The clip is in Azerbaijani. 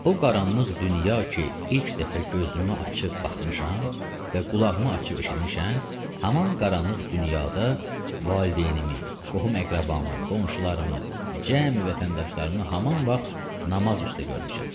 O qaranlıq dünya ki, ilk dəfə gözümü açıb baxmışam və qulağımı açıb eşitmişəm, haman qaranlıq dünyada valideynimi, qohum-əqrəbamı, qonşularımı, cəmi vətəndaşlarımı haman vaxt namaz üstə görmüşəm.